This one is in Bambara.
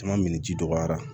Caman min ji dɔgɔyara